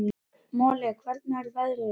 Moli, hvernig er veðrið í dag?